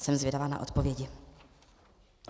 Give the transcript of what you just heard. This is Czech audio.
Jsem zvědavá na odpovědi.